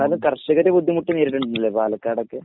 എന്നാലും കർഷകർ ബുദ്ധിമുട്ട് നേരിടുന്നില്ലല്ലോ പാലക്കാടൊക്കെ.